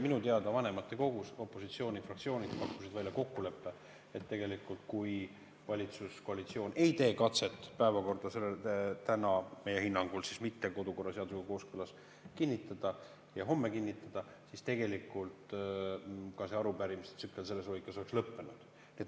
Minu teada pakkusid opositsioonifraktsioonid vanematekogus välja kokkuleppe, et kui valitsuskoalitsioon ei tee katset päevakorda, mis ei ole meie hinnangul kodukorra seadusega kooskõlas, täna kinnitada ja homme kinnitada, siis tegelikult ka see arupärimiste tsükkel selles lõikes oleks lõppenud.